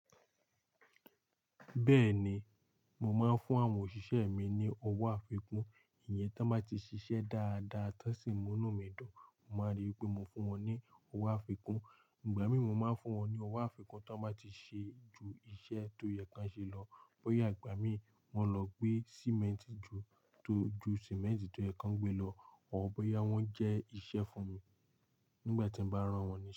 Bẹ́ẹ̀ni, mo máa ń fún àwọn òṣìṣẹ́ mi ní owó àfikún, ìyẹn tí wọ́n bá ti ṣiṣẹ́ dáadáa, tí wọ́n sì múnú mi dùn, mo máa ríi pé mo fún wọn ní owó àfikún. Ìgbà mí mo máa ń fún wọn ní owó àfikún tí wọ́n bá ti ṣe ju iṣẹ́ tó yẹ kí wọn ṣe lọ. Bóyá ìgbà mí wọ́n lọ gbé símẹ́ntì ju tó ju símẹ́ntì tó yẹ kí wọ́n gbé lọ, or bóyá wọ́n jẹ́ iṣẹ́ fún mi nígbà tí mo bá rán wọn ní iṣẹ́